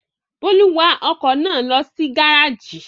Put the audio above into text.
Bólú wa ọkọ̀ náà lọ sí gárájì?